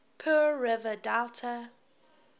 pearl river delta